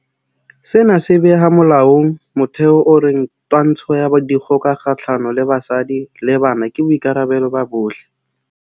Sena se beha molaong motheo o reng twantsho ya dikgoka kgahlano le basadi le bana ke boikarabelo ba bohle.